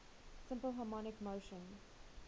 simple harmonic motion